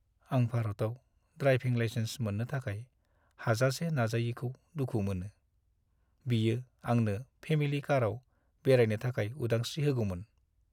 आं भारताव driving licence मोन्नो थाखाय हाजासे नाजायैखौ दुखु मोनो। बियो आंनो फेमिलि कारआव बेरायनो थाखाय उदांश्री होगौमोन।